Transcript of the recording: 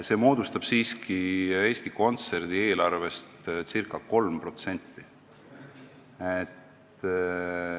See moodustab siiski Eesti Kontserdi eelarvest ca 3%.